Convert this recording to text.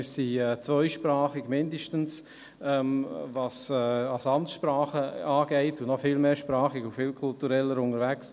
Wir sind zweisprachig, mindestens – was Amtssprachen angeht –, und noch viel mehrsprachiger und viel kultureller unterwegs.